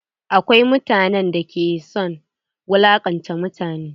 Akwai mutanen da ke son wulaƙanta mutane.